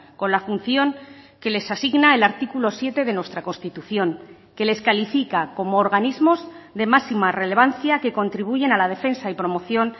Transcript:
con la función que les asigna el artículo siete de nuestra constitución que les califica como organismos de máxima relevancia que contribuyen a la defensa y promoción